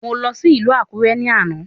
Mò lọ sí ìlú Àkúré ní àná